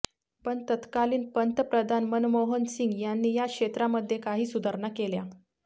पण तत्कालीन पंतप्रधान मनमोहन सिंग यांनी या क्षेत्रामध्ये काही सुधारणा केल्या